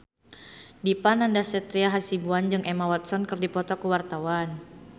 Dipa Nandastyra Hasibuan jeung Emma Watson keur dipoto ku wartawan